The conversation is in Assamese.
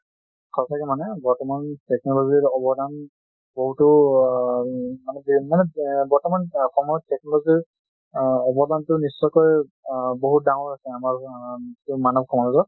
সচাকে মানে বৰ্তমান technologyৰ অবদান বহুটো আ মানে, মানে এ বৰ্তমান সময়ত technology ৰ অবদানটো নিশ্চয় কই বহুত ডাঙৰ আছে আমাৰ আ মানৱ সমাজত।